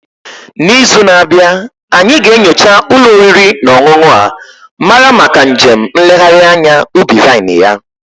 N'izu na-abịa, anyị ga-enyocha ụlọ oriri na ọṅụṅụ a mara maka njem nlegharị anya ubi vine ya.